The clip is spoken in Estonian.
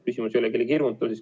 Küsimus ei ole kellegi hirmutamises.